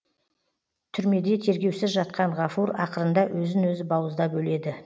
түрмеде тергеусіз жатқан ғафур ақырында өзін өзі бауыздап өледі